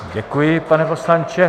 Děkuji, pane poslanče.